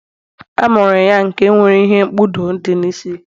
amuru ya nke nwere ihe-nkpudo di n'isi-ya